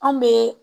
Anw bɛ